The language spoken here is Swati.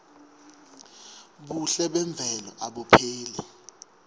buhle memvelo abupheli